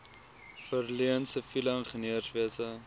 verleen siviele ingenieurswese